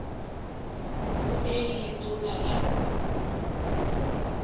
go tee le letona la